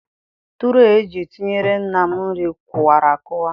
Tụree eji etinyere nna m nri kụwara akụwa.